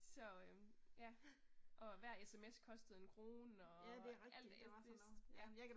Så øh ja. Og hver SMS kostede en krone og alt det ja